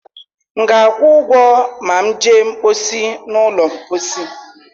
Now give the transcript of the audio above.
M ga-akwụ maa jee mkposi n'ụlọ mposi?